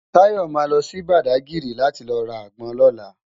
Tayo má lò si Bádágiri láti lò rá ágbòn lòlá